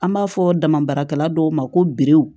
An b'a fɔ dama baarakɛla dɔw ma ko be